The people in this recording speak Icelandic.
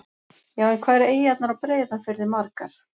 Já, en hvað eru eyjarnar á Breiðafirði margar?